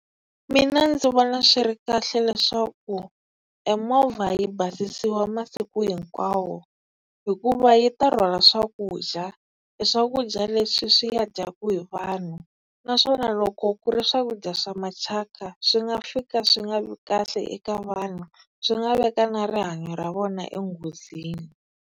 Mina ndzi vona swi ri kahle leswaku e movha yi basisiwa masiku hinkwawo, hikuva yi ta rhwala swakudya. E swakudya leswi swi ya dyaku hi vanhu naswona loko ku ri swakudya swa mathyaka swi nga fika swi nga vi kahle eka vanhu, swi nga veka na rihanyo ra vona enghozini.